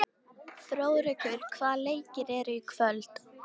Þjóðrekur, hvaða leikir eru í kvöld?